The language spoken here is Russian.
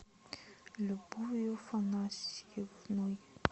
любовью афанасьевной